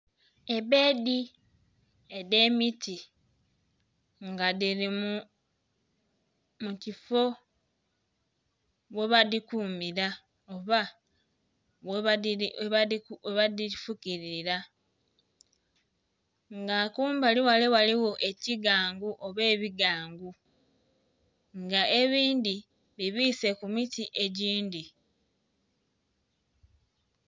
Ebbeedi edh'emiti nga dhili mu kifo ghe badhikumira oba ghe badhifukililila, nga kumbali ghale ghaligho ekigangu oba ebigangu nga ebindhi bibiise ku miti egindhi.